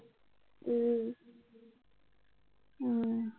এৰ উম